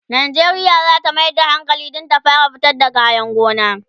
Najeriya zata Mayar da hankali Dan ta fara fitar da kayan gona